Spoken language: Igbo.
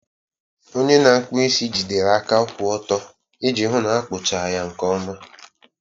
onye na-akpụ isi jigidere aka kwụ ọtọ iji hụ na akpụcha ya nke ọma.